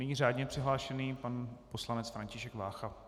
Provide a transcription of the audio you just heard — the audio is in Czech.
Nyní řádně přihlášený pan poslanec František Vácha.